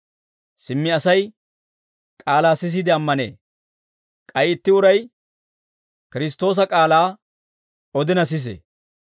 Simmi Asay k'aalaa sisiide ammanee; k'ay itti uray Kiristtoosa k'aalaa, odina sisee.